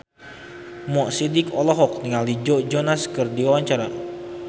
Mo Sidik olohok ningali Joe Jonas keur diwawancara